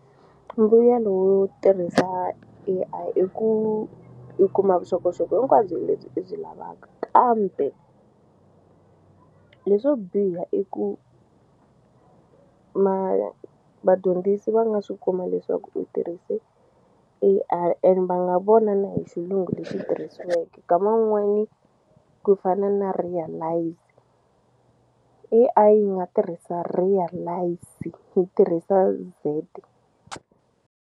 Mbuyelo wo tirhisa A_I i ku u kuma vuxokoxoko hinkwabyo lebyi i byi lavaka kambe leswo biha i ku vadyondzisi va nga swi kuma leswaku u tirhise A_I and va nga vona na hi xilungu lexi tirhisiweke nkama wun'wani ku fana na realise A_I yi nga tirhisa realize yi tirhisa Z.